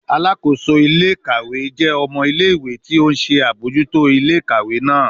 Alakoso ile-ikawe jẹ ọmọ ile-iwe ti o nṣe abojuto ile-ikawe naa